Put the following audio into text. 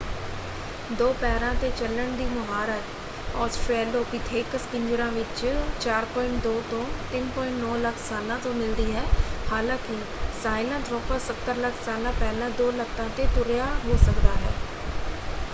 ਦੋ ਪੈਰਾਂ 'ਤੇ ਚੱਲਣ ਦੀ ਮੁਹਾਰਤ ਆਸਟ੍ਰੇਲੋਪੀਥੇਕਸ ਪਿੰਜਰਾਂ ਵਿੱਚ 4.2-3.9 ਲੱਖ ਸਾਲਾਂ ਤੋਂ ਮਿਲਦੀ ਹੈ ਹਾਲਾਂਕਿ ਸਾਹਿਲਾਂਥ੍ਰੋਪਸ 70 ਲੱਖ ਸਾਲਾਂ ਪਹਿਲਾਂ ਦੋ ਲੱਤਾਂ 'ਤੇ ਤੁਰਿਆ ਹੋ ਸਕਦਾ ਹੈ।